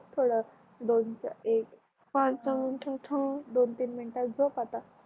झोप थोड दोन चार दोन तीन मिनिटात झोप आता